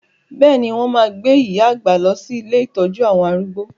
Bẹ́ẹ̀ni, wọn máa gbé iya àgbà lọ sí ilé ìtọ́jú àwọn arúgbó.